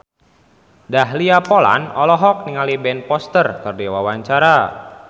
Dahlia Poland olohok ningali Ben Foster keur diwawancara